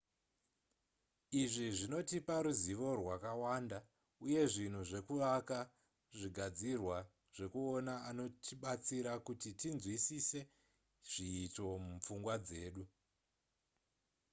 izvi zvinotipa ruzivo rwakawanda uye zvinhu zvekuvaka zvigadzirwa zvekuona anotibatsira kuti tinzwisise zviito mupfungwa dzedu